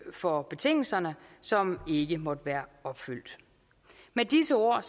for betingelser som ikke måtte være opfyldt med disse ord